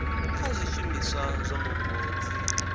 kha zwishumiswa zwa mupo dzi